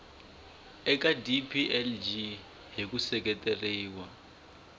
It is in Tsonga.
eka dplg hi ku seketeriwa